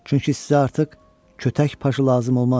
Çünki sizə artıq kötək paşası lazım olmaz.